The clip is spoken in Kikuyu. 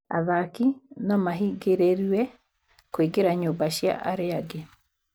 Athaki no mahingĩrĩrue kũingĩra nyumba cia arĩa angĩ